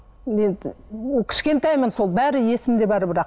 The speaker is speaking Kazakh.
енді кішкентаймын сол бәрі есімде бар бірақ